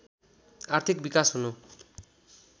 आर्थिक विकास हुनु